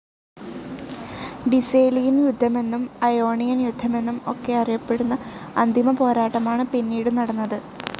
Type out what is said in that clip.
ഡിസേലിയൻ യുദ്ധമെന്നും അയോണിയൻ യുദ്ധമെന്നും ഒക്കെ അറിയപ്പെടുന്ന അന്തിമപോരാട്ടമാണ് പിന്നീടു നടന്നത്.